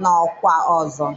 n'ọkwa ọzọ.